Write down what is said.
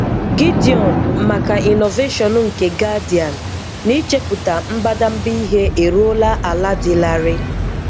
Gideon maka Innovation nke Guardian n'ichepụta mbadamba ihe eruola ala dị larịị.